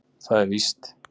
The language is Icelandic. Það er víst.